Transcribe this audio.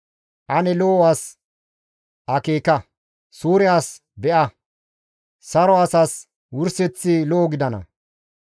Ane lo7o as akeeka; suure as be7a; saro asas wurseththi lo7o gidana.